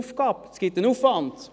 Dies generiert einen Aufwand!